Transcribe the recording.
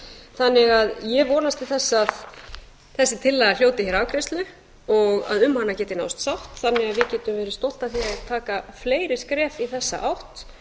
þannig að ég vonast til þess að þessi tillaga hljóti hér afgreiðslu og að um hana geti náðst sátt þannig að við getum verið stolt af því að taka fleiri skref í þessa átt